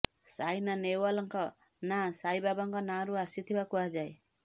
ସାଇନା ନେହୱାଲଙ୍କ ନାଁ ସାଇ ବାବାଙ୍କ ନାଁରୁ ଆସିଥିବା କୁହାଯାଏ